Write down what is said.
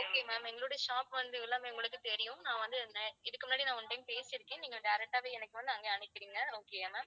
okay ma'am எங்களுடைய shop வந்து எல்லாமே உங்களுக்கு தெரியும், நான் வந்து இதுக்கு முன்னாடி நான் one time பேசியிருக்கேன், நீங்க direct ஆவே எனக்கு வந்து அங்கே அனுப்பிடுங்க okay யா ma'am